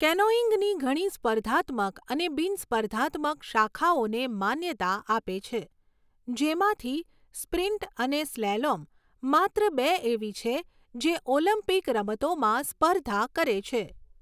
કેનોઇંગની ઘણી સ્પર્ધાત્મક અને બિન સ્પર્ધાત્મક શાખાઓને માન્યતા આપે છે, જેમાંથી સ્પ્રિન્ટ અને સ્લેલોમ માત્ર બે એવી છે જે ઓલિમ્પિક રમતોમાં સ્પર્ધા કરે છે.